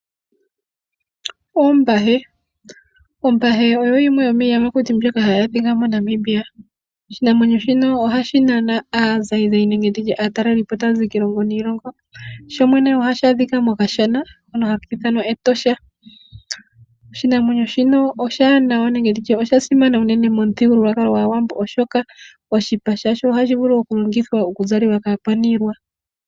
Oombahe Ombahe oyo yimwe yomiiyamakuti hayi adhika moNamibia. Oshinamwenyo shino ohashi nana aazayizayi nenge ndi tye aataleli po taya zi kiilongo niilongo. Sho shene ohashi adhika mokashana hono haki ithanwa Etosha. Oshinamwenyo shino oshiwaanawa nenge nditye osha simana unene.